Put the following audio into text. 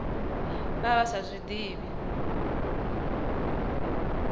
vha vha sa zwi ḓivhi